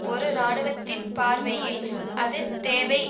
ஒரு இராணுவத்தின் பார்வையில் அது தேவை